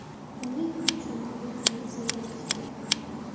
Uning uchun mexanizm bo‘lishi kerak.